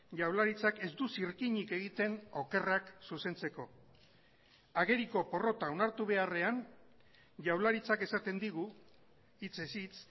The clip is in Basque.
jaurlaritzak ez du zirkinik egiten okerrak zuzentzeko ageriko porrota onartu beharrean jaurlaritzak esaten digu hitzez hitz